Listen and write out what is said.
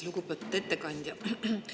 Lugupeetud ettekandja!